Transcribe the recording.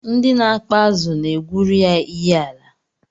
Ndị na-akpa azụ na-egwuru ya iyiala